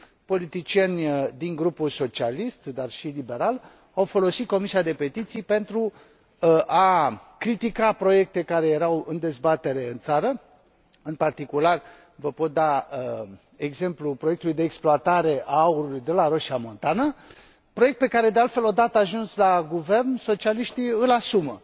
Politicieni din grupul socialist, dar și liberal, au folosit Comisia pentru petiții pentru a critica proiecte care erau în dezbatere în țară în particular vă pot da exemplul proiectului de exploatare a aurului de la Roșia Montană proiect pe care, de altfel, o dată ajunși la guvern, socialiștii îl asumă.